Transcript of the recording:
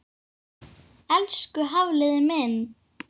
Elsku Hafliði minn.